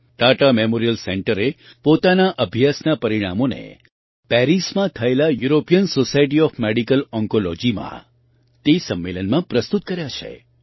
Tata memorial સેન્ટરે પોતાના અભ્યાસનાં પરિણામોને પેરિસમાં થયેલા યુરોપિયન સૉસાયટી ઑફ મેડિકલ ઑન્કોલૉજીમાં તે સંમેલનમાં પ્રસ્તુત કર્યાં છે